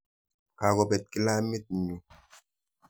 Kakopet kilamit nyu.